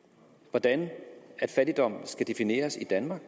hvordan fattigdom skal defineres i danmark